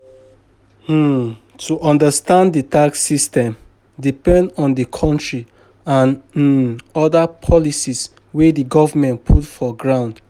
um To understand di tax system, depend on di country and um oda policies wey di governement put for ground